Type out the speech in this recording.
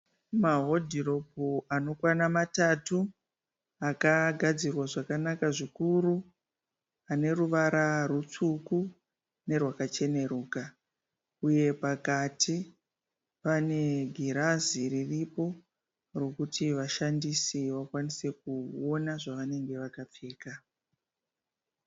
Mahodhiropu anokwana matatu akagadzIrwa zvakanaka zvikuru. Aneruvara rwutsvuku nerwakacheruka uye pakati pane girazi riripo rokuti vashandisi vakwanise kuona zvavanenge vakapfeka.